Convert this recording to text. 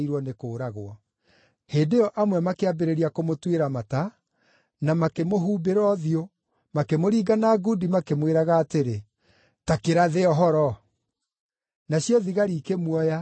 Hĩndĩ ĩyo amwe makĩambĩrĩria kũmũtuĩra mata, na makĩmũhumbĩra ũthiũ, makĩmũringa na ngundi makĩmwĩraga atĩrĩ, “Ta kĩrathe ũhoro.” Nacio thigari ikĩmuoya, ikĩmũhũũra.